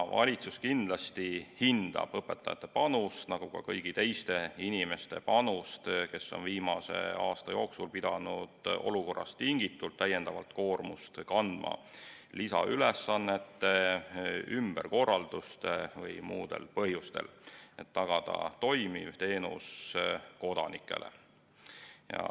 Valitsus kindlasti hindab õpetajate panust, nagu ka kõigi teiste inimeste panust, kes on viimase aasta jooksul pidanud olukorrast tingitult täiendavat koormust kandma lisaülesannete, ümberkorralduste või muude põhjuste tõttu, et tagada kodanikele toimiv teenus.